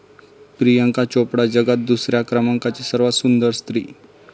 प्रियांका चोप्रा जगात दुसऱ्या क्रमांकाची सर्वात सुंदर स्त्री